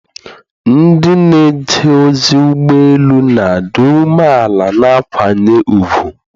Ndị na-eje ozi ụgbọ elu na-adị umeala na akwanye ùgwù.